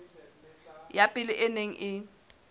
ya pele e neng e